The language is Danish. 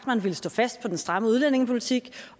man ville stå fast på den stramme udlændingepolitik